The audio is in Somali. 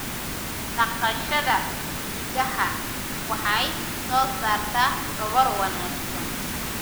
Dhaqashada idaha waxay soo saartaa dhogor wanaagsan.